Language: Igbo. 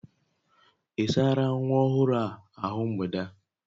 Ị sárá nwa ọhụrụ a ahụ mgbede a?